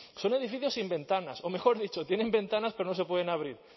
son edificios sin ventanas o mejor dicho tienen ventanas pero no se pueden abrir